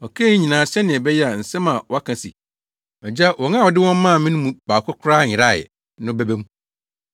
Ɔkaa eyi nyinaa sɛnea ɛbɛyɛ a nsɛm a wɔaka se, “Agya, wɔn a wode wɔn maa me no mu baako koraa nyerae” no bɛba mu.